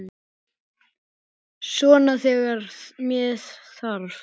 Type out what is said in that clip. Svona þegar með þarf.